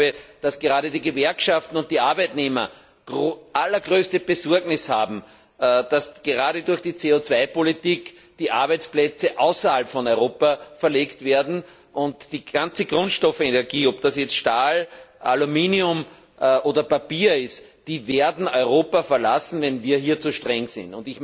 Ich glaube, dass gerade die Gewerkschaften und die Arbeitnehmer allergrößte Besorgnis haben, dass gerade durch die CO Politik die Arbeitsplätze nach außerhalb von Europa verlegt werden und die ganze Grundstoffindustrie, ob das jetzt Stahl, Aluminium oder Papier ist, die werden Europa verlassen, wenn wir hier zu streng sind.